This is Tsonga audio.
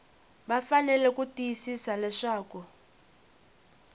va fanele ku tiyisisa leswaku